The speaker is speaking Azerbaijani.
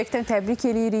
Ürəkdən təbrik eləyirik.